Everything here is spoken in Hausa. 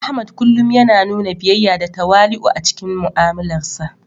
Ahmad kullum yana nuna biyayya da tawali'u a cikin mu'amalarsa.